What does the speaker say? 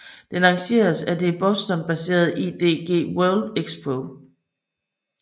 Den arrangeres af det Bostonbaserede IDG World Expo